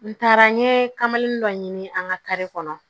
N taara n ye kamanin dɔ ɲini an ka kari kɔnɔ